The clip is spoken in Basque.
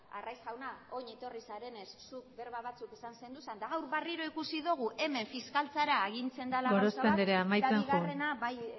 arraiz jauna orain etorri zarenez zuk berba batzuk esan zenituen eta gaur berriro ikusi dogu hemen fiskaltzara agintzen dela gauza bat gorospe andrea amaitzen joan eta bigarrena bai